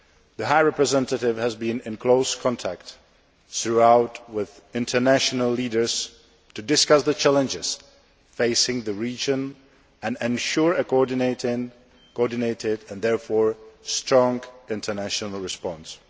The High Representative has been in close contact throughout with international leaders to discuss the challenges facing the region and to ensure a coordinated and, therefore, strong international response.